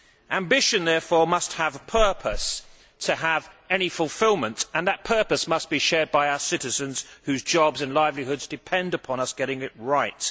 Ambition, therefore, must have a purpose, in order for there to be any fulfilment, and that purpose must be shared by our citizens whose jobs and livelihoods depend upon us getting it right.